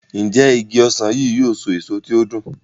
Njé Ìgi ọsán yi yóò so èso tí o dùn?